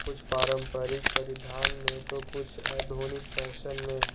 कुछ पारंपरिक परिधान में तो कुछ आधुनिक फैशन में--